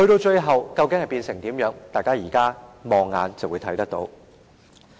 最後會變成怎樣，大家現時放眼細看，便會知道。